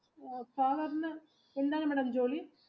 father ന് എന്താണ് madam ജോലി?